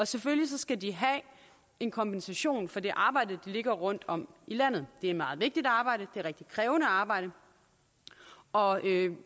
selvfølgelig skal de have en kompensation for det arbejde der ligger rundtom i landet det er et meget vigtigt arbejde det er et rigtig krævende arbejde og